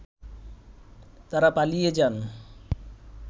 তারা পালিয়ে যান